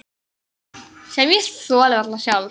Sem ég þoli varla sjálf.